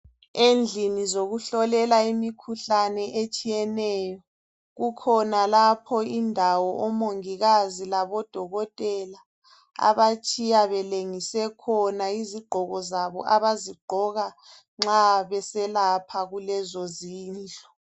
Endlini zokuhlolela imikhuhlane etshiyeneyo, kukhona lapho indawo omongikazi labodokotela abatshiya belengise khona izigqoko zabo abazigqoka nxa beselapha kulezo zindlu.